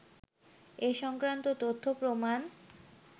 এ সংক্রান্ত তথ্য-প্রমাণ